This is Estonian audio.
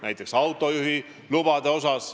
Näiteks võib saada autojuhiloa.